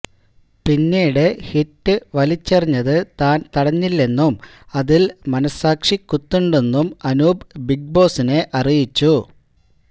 പിന്നീട് ഹിറ്റ് വലിച്ചെറിഞ്ഞത് താന് തടഞ്ഞില്ലെന്നും അതില് മനഃസാക്ഷി കുത്തുണ്ടെന്നും അനൂപ് ബിഗ് ബോസിനെ അറിയിച്ചു